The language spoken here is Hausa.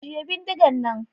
Ajiye bindigan nan!